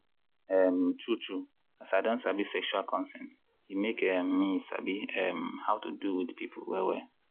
um true true as i don sabi sexual consent e make um me sabi um how to do with people well well.